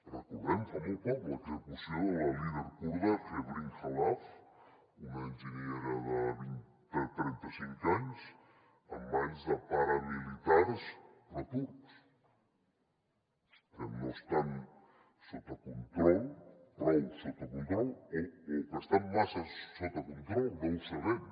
recordem fa molt poc l’execució de la líder kurda hevrin khalaf una enginyera de trenta cinc anys en mans de paramilitars proturcs que no estan sota control prou sota control o que estan massa sota control no ho sabem